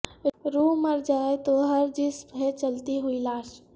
روح مرجائے تو ہر جسم ہے چلتی ہوئی لاش